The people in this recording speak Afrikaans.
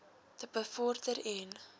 te bevorder en